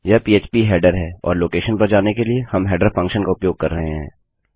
यह PHP header है और लोकेशन पर जाने के लिए हम हेडरफंक्शन का उपयोग कर रहे हैं